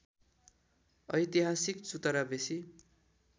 ऐतिहासिक चुतरा बेसी